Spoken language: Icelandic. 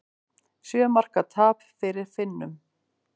Sjö marka tap fyrir Finnum